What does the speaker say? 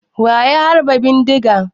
Wa ya harba bindiga?